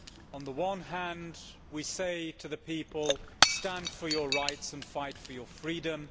On the one hand, we say to the people, stand up for your rights and fight for your freedom.